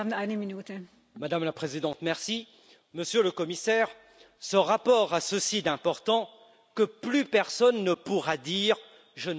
Madame la Présidente, Monsieur le Commissaire, ce rapport a ceci d'important que plus personne ne pourra dire je ne savais pas.